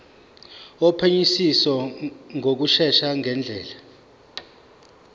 wophenyisiso ngokushesha ngendlela